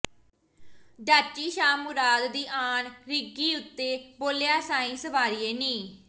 ਡਾਚੀ ਸ਼ਾਹ ਮੁਰਾਦ ਦੀ ਆਨ ਰਿੰਗੀ ਉਤੋ ਬੋਲਿਆ ਸਾਈਂ ਸਵਾਰੀਏ ਨੀ